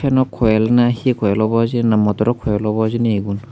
enok koil na he he koil obow hijeni na motoro koil obow hijeni egun.